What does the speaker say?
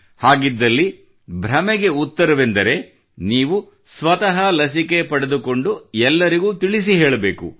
ಹಾಗಿದ್ದಲ್ಲಿ ಭ್ರಮೆಯ ಉತ್ತರವೆಂದರೆ ನೀವು ಸ್ವತಃ ಲಸಿಕೆ ಪಡೆದುಕೊಂಡು ಎಲ್ಲರಿಗೂ ತಿಳಿಸಿ ಹೇಳಬೇಕು